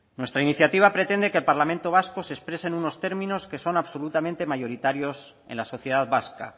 nuestra iniciativa pretende que el parlamento vasco se exprese en unos términos que son absolutamente mayoritarios en la sociedad vasca